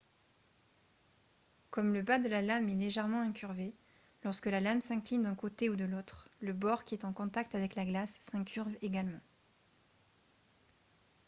comme le bas de la lame est légèrement incurvé lorsque la lame s'incline d'un côté ou de l'autre le bord qui est en contact avec la glace s'incurve également